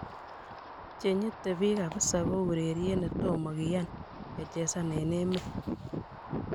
che nyite bik kabisa ko urerit ne tomo kian kechezan eng emet